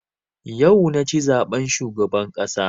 Yau na ci zaben shugaban ƙasa